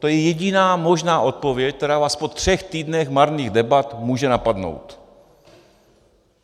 To je jediná možná odpověď, která vás po třech týdnech marných debat může napadnout.